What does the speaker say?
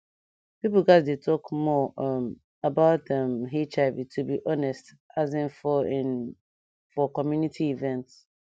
pipo gatz dey talk more um about um hiv to be honest as in for in for community event